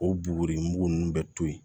O b'o boribugu nunnu bɛ to yen